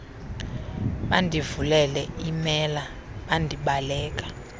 bandivulele iimela mandibaleke